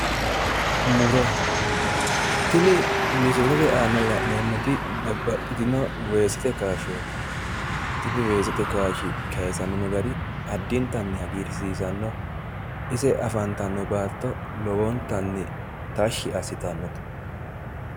Muro, tini misilete aana la'neemmoti babbaxxitino weesete kaashshooti. Tini weesete kaashshi kaasamino gari addintanni hagiirsiisanno. Ise afantanno bayichi addintanni tashshi assitanno.